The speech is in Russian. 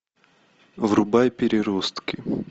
врубай переростки